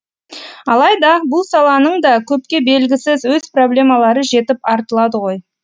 алайда бұл саланың да көпке белгісіз өз проблемалары жетіп артылады ғой